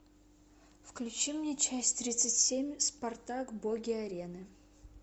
включи мне часть тридцать семь спартак боги арены